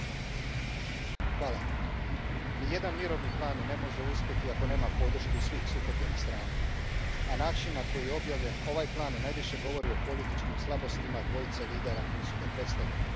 Poštovani predsjedavajući, nijedan mirovni plan ne može uspjeti ako nema podršku svih sukobljenih strana, a način na koji je objavljen ovaj plan najviše govori o političkim slabostima dvojice lidera koji su ga predstavili.